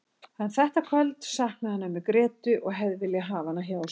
En þetta kvöld saknaði hann ömmu Grétu og hefði viljað hafa hana hjá sér.